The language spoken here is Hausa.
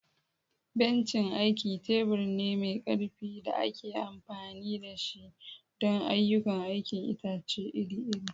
Bencin aiki tebur ne mai ƙarfi da ake amfani da shi don ayyukan aikin itace iri-iri.